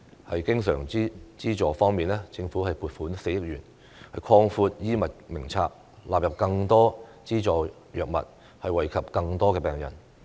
在經常資助方面，政府增撥4億元擴闊《醫院管理局藥物名冊》，納入更多資助藥物，惠及更多病人。